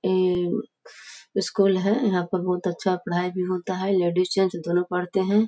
ये स्कुल है। यहाँ पर बहोत अच्छा पढ़ाई भी होता है लेडीज जेंट्स दोनों पढ़ते हैं।